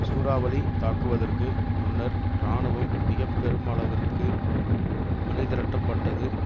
சூறாவளி தாக்குவதற்கு முன்னர் இராணுவம் மிக பெருமளவிற்கு அணி திரட்டப்பட்டது